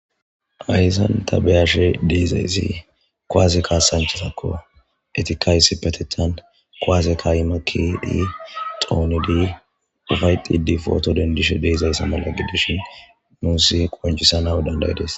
Haysan ta be'ishe dizaysi kuwase kasanchatatako etika issipetetan kuwase ka'i makidi dhonidi ufaydhide poto dendizaysa mala gidishin nusi qonc'isanaw danda'des.